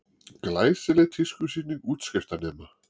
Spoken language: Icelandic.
Glæsileg tískusýning útskriftarnema